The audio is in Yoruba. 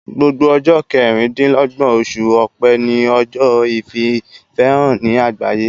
Gbogbo ọjọ kẹrìn-dìnlọ́gbọ̀n oṣù ọ̀pe ni ọjọ́ ìfìfẹ́hàn ní àgbáyé